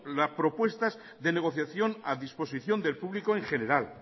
propuestas de negociación a disposición del público en general